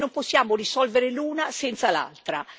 E non possiamo risolvere l'una senza l'altra.